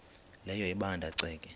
leyo ebanda ceke